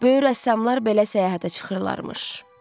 Böyük rəssamlar belə səyahətə çıxırlarmış.